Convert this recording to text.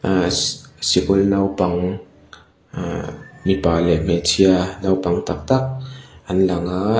ehh si sikul naupang ehh mipa leh hmeichhia naupang tak tak an lang a.